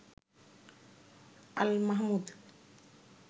Al Mahmud